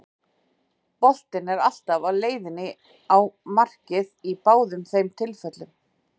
Boltinn er alltaf á leiðinni á markið í báðum þeim tilfellum.